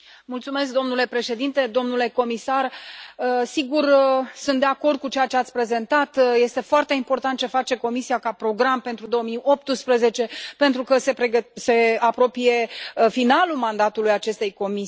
Domnule Președinte, domnule comisar, sigur, sunt de acord cu ceea ce ați prezentat, este foarte important ce face Comisia ca program pentru 2018, pentru că se apropie finalul mandatului acestei Comisii.